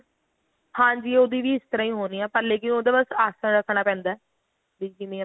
ਹਾਂਜੀ ਉਹਦੀ ਵੀ ਇਸ ਤਰ੍ਹਾਂ ਹੀ ਹੋਣੀ ਏ ਮਤਲਬ ਕੀ ਬੱਸ ਉਹਦਾ ਆਸਣ ਰੱਖਣਾ ਪੈਂਦਾ ਵੀ ਕਿਵੇਂ